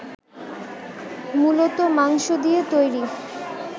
মূলত মাংস দিয়ে তৈরি